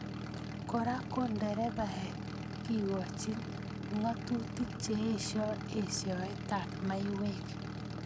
Kora ko nderebaek kekoch ngatutik che esioi eisetab maiywek